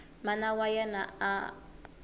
mana wa yena a a